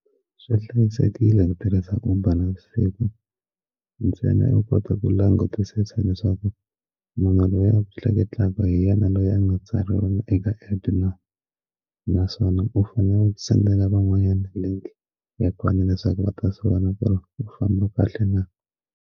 Swi hlayisekile ni tirhisaka Uber navusiku ntsena yo kota ku langutisa leswaku munhu loyi a tleketlaka hi yena loyi a nga tsariwa eka epu na naswona u fanele u send-ela van'wanyana link ya kona leswaku va ta vona ku ri u famba kahle na.